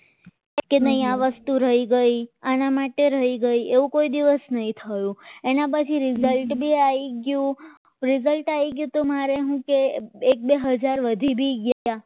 કે આ વસ્તુ રહી ગઈ આના માટે રહી ગઈ એવું કોઈ દિવસ નહીં થયું એના પછી result બી આવી ગયું result આવી ગયું તો મારે શું કે એક બે હજાર વધી ગયા